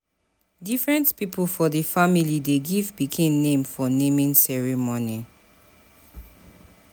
Different pipo for di family dey give pikin name for naming ceremony.